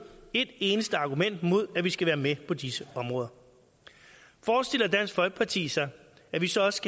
et eneste argument imod at vi skal være med på disse områder forestiller dansk folkeparti sig at vi så også